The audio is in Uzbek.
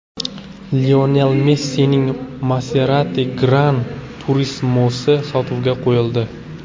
Lionel Messining Maserati GranTurismo‘si sotuvga qo‘yildi .